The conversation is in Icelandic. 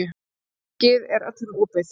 Þingið er öllum opið.